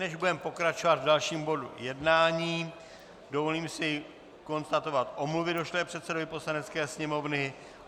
Než budeme pokračovat v dalším bodu jednání, dovolím si konstatovat omluvy došlé předsedovi Poslanecké sněmovny.